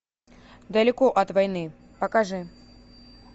далеко от войны покажи